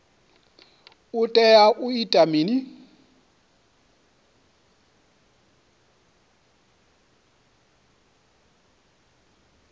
u tea u ita mini